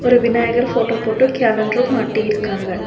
இங்க விநாயகர் ஃபோட்டோ போட்டு கேலண்டரு மாட்டிருக்காங்க.